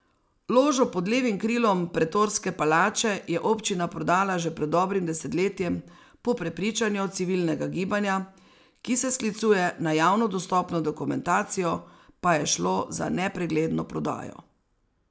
Ložo pod levim krilom Pretorske palače je občina prodala že pred dobrim desetletjem, po prepričanju civilnega gibanja, ki se sklicuje na javno dostopno dokumentacijo, pa je šlo za nepregledno prodajo.